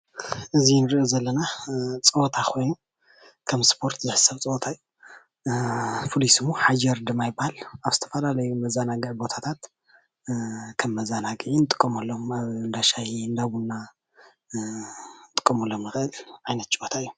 እዚ እንሪኦ ዘለና ፀወታ ኮይኑ ከም ስፖርት ዝሕሰብ ፀወታ እዩ፣ ፍሉይ ሽሙ ሓጀር ድማ ይባሃል ኣብ ዝተፈላለዩ መዘናግዒ ቦታታት ከም መዘናግዒ እንጥቀመሎም ኣብ እንዳ ሻሂ እንዳ ቡና ክንጥቀመሎም ንክእል ዓይነት ጨወታ እዩ፡፡